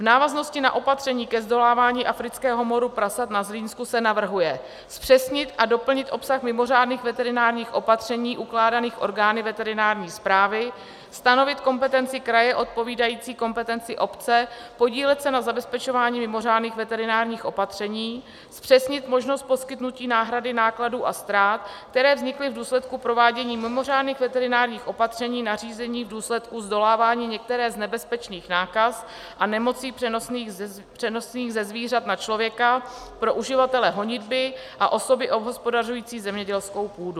V návaznosti na opatření ke zdolávání afrického moru prasat na Zlínsku se navrhuje zpřesnit a doplnit obsah mimořádných veterinárních opatření ukládaných orgány veterinární správy, stanovit kompetenci kraje odpovídající kompetenci obce, podílet se na zabezpečování mimořádných veterinárních opatření, zpřesnit možnost poskytnutí náhrady nákladů a ztrát, které vznikly v důsledku provádění mimořádných veterinárních opatření nařízených v důsledku zdolávání některé z nebezpečných nákaz a nemocí přenosných ze zvířat na člověka pro uživatele honitby a osoby obhospodařující zemědělskou půdu.